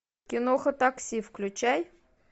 киноха такси включай